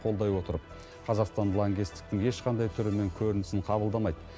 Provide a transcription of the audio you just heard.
қолдай отырып қазақстан лаңкестіктің ешқандай түрі мен көрінісін қабылдамайды